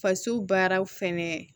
Faso baaraw fɛnɛ